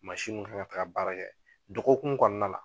kan ka taga baara kɛ dɔgɔkun kɔnɔna la.